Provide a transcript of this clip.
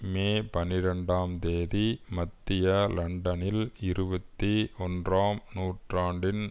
மே பனிரெண்டாம் தேதி மத்திய லண்டனில் இருபத்தி ஒன்றாம் நூற்றாண்டின்